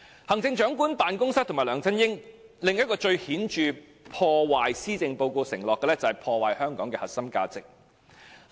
行政長官辦公室及梁振英另一個破壞施政報告承諾的最顯著行為，就是破壞香港的核心價值。